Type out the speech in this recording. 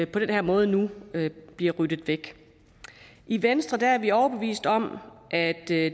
på den her måde nu bliver ryddet væk i venstre er vi overbevist om at det